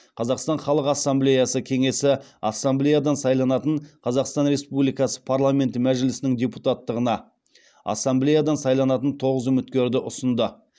қазақстан халық ассамблеясы кеңесі ассамблеядан сайланатын қазақстан республикасы парламенті мәжілісінің депутаттығына ассамблеядан сайланатын тоғыз үміткерді ұсынды